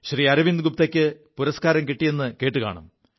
അരവിന്ദ് ഗുപ്തയ്ക്ക് പുരസ്കാരം കിിയത് കേുകാണും